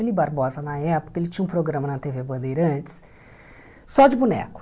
O Eli Barbosa, na época, ele tinha um programa na tê vê Bandeirantes só de boneco.